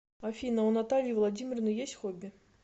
афина у натальи владимировны есть хобби